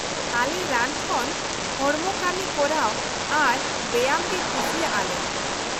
-ᱟᱞᱮ ᱨᱟᱱ ᱠᱷᱚᱱ ᱦᱚᱲᱢᱚ ᱠᱟᱢᱤ ᱠᱚᱨᱟᱣ ᱟᱨ ᱵᱮᱭᱟᱢ ᱜᱮ ᱠᱩᱥᱤᱭᱟᱜᱼᱟ ᱞᱮ ᱾